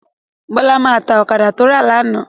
Bọ́lá máa ta ọ̀kadà tó rà lánàá.